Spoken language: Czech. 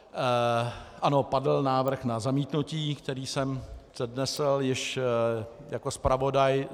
Ano, padl návrh na zamítnutí, který jsem přednesl již jako zpravodaj.